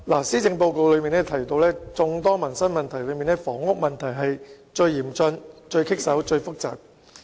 施政報告提到，在眾多民生議題中，房屋問題是最嚴峻、最棘手、最複雜的。